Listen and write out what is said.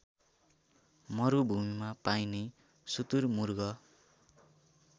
मरुभूमिमा पाइने सुतुरमुर्ग